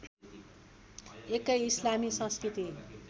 एकै इस्लामी संस्कृति